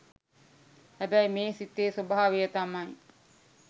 හැබැයි මේ සිතේ ස්වභාවය තමයි